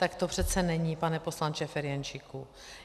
Tak to přece není, pane poslanče Ferjenčíku.